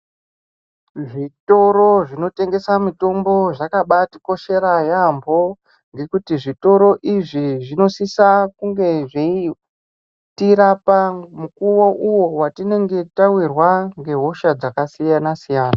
Zvitoro zvinotengesa mitombo zvakabaatikoshera yaamho, ngekuti zvitori izvi zvinosisa kunge zveitirapa mukuwo uwo watinenge tawirwa ngehosha dzakasiyana-siyana.